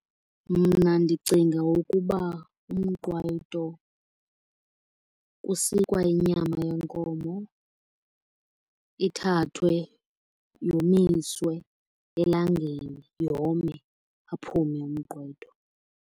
Mna ndicinga ukuba umqwayito kusikwa inyama yenkomo, ithathwe, yomiswe elangeni, yome, aphume umqwayito.